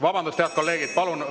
Vabandust, head kolleegid!